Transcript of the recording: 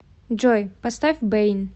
джой поставь бэйн